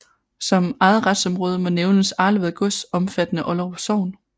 Som eget retsområde må nævnes Arlevad Gods omfattende Olderup Sogn